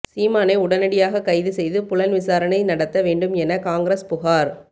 சீமானை உடனடியாக கைது செய்து புலன் விசாரணை நடத்த வேண்டும் என காங்கிரஸ் புகார்